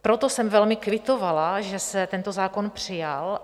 Proto jsem velmi kvitovala, že se tento zákon přijal.